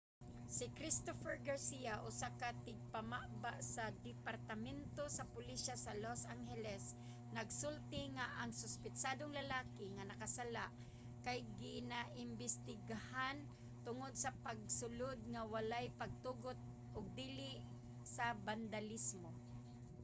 si christopher garcia usa ka tigpamaba sa departamento sa pulisya sa los angeles nagsulti nga ang suspetsadong lalaki nga nakasala kay ginaimbestigahan tungod sa pagsulod nga walay pagtugot ug dili sa bandalismo